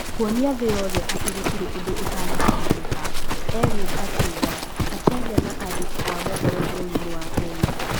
Kuonia thĩ yothe atĩ gũtirĩ ũndũ ũtangĩhotekeka’’ Eliud akiuga akĩaria na andĩki a mohoro bũrũri-inĩ wa Kenya